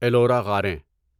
Ellora غاریں